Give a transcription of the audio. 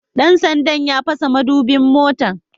Dan sandan ya fasa madubin motata